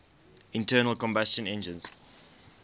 internal combustion engines